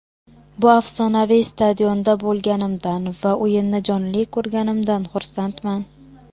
Bu afsonaviy stadionda bo‘lganimdan va o‘yinni jonli ko‘rganimdan xursandman.